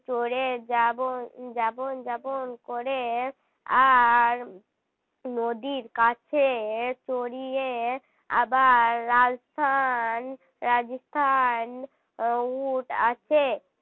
চড়ে যাব যাব যাব করে আর নদীর কাছে তলিয়ে আবার রাজস্থান রাজস্থান উট আছে